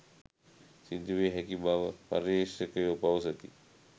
සිදුවිය හැකි බව පර්යේෂකයෝ පවසති